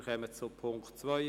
Wir kommen zu Punkt 2: